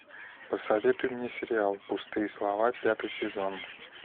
посоветуй мне сериал пустые слова пятый сезон